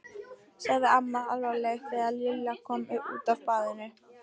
sagði amma alvarleg þegar Lilla kom út af baðinu.